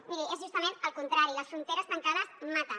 miri és justament el contrari les fronteres tancades maten